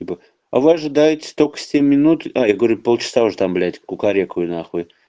а вы ожидаете только семь минут а я говорю полчаса уже там блять кукарекую нахуй